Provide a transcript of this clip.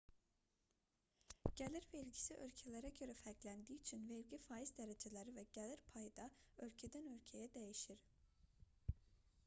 gəlir vergisi ölkələrə görə fərqləndiyi üçün vergi faiz dərəcələri və gəlir payı da ölkədən-ölkəyə dəyişir